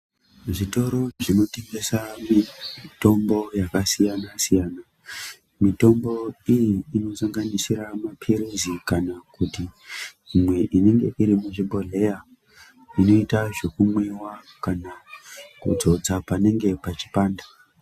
Zvitoro zvinotengese mitombo yakasiyana siyana mitombo iyi inosanganisira mapirizi kana kuti imwe inenge iri muchibhodhleya unoita zvekumwiwa kana kudzodza oanenge pachipanda.